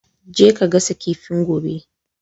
Je ka gasa kifin gobe!